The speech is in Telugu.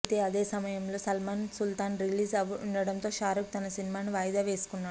అయితే అదే సమయంలో సల్మాన్ సుల్తాన్ రిలీజ్ ఉండటంతో షారూఖ్ తన సినిమాను వాయిదా వేసుకున్నాడు